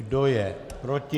Kdo je proti?